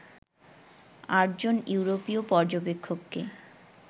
আটজন ইউরোপীয় পর্যবেক্ষককে